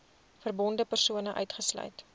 verbonde persone uitgesluit